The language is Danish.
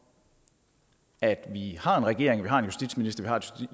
at vi har en regering vi har en justitsminister vi har et